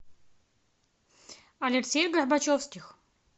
алексей горбачевских